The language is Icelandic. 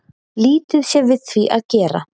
Lítið sé við því að gera